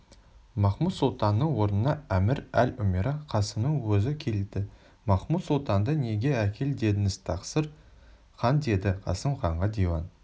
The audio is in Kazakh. махмуд-сұлтанның орнына әмір-эль-умера қасымның өзі келді махмуд-сұлтанды неге әкел дедіңіз тақсыр хан деді қасым ханға диван